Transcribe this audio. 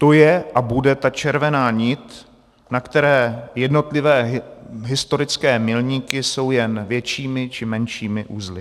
To je a bude ta červená nit, na které jednotlivé historické milníky jsou jen většími či menšími uzly.